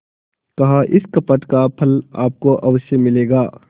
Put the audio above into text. कहाइस कपट का फल आपको अवश्य मिलेगा